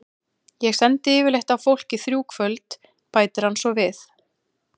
Ég sendi yfirleitt á fólk í þrjú kvöld, bætir hann svo við.